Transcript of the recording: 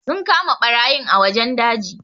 Sun kama barayin a wajen daji.